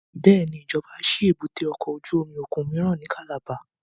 Bẹ́ẹ̀ni, ijọba ṣi èbúté ọkọ ojú omi okun miiran ni Calabar